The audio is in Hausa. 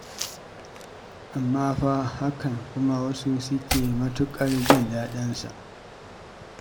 Amma fa a hakan kuma wasu suke matuƙar jin daɗin sa.